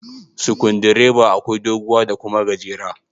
Sikundireba akwai doguwa da kuma gajera.